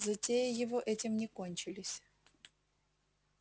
затеи его этим не кончились